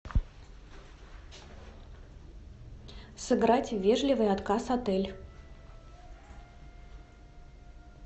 сыграть в вежливый отказ отель